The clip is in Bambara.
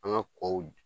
An ka kɔw